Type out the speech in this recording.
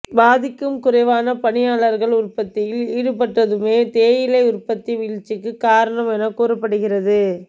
பாதிக்கும் குறைவான பணியாளர்கள் உற்பத்தியில் ஈடுபட்டதுமே தேயிலை உற்பத்தி வீழ்ச்சிக்கு காரணம் என கூறப்படுகிறது